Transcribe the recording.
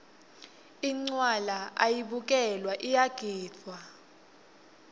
incwala ayibukelwa iyagidvwa